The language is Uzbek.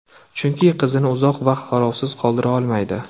Chunki qizini uzoq vaqt qarovsiz qoldira olmaydi.